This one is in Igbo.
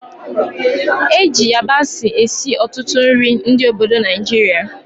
Eji yabasị esi ọtụtụ nri ndị obodo Naijiria